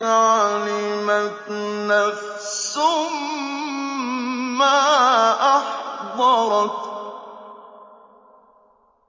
عَلِمَتْ نَفْسٌ مَّا أَحْضَرَتْ